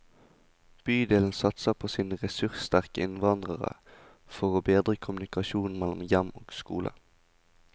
Bydelen satser på sine ressurssterke innvandrere for å bedre kommunikasjonen mellom hjem og skole.